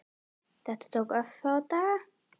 Þetta tók örfáa daga.